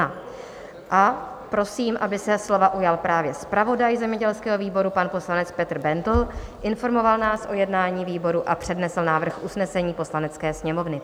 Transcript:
A prosím, aby se slova ujal právě zpravodaj zemědělského výboru, pan poslanec Petr Bendl, informoval nás o jednání výboru a přednesl návrh usnesení Poslanecké sněmovny.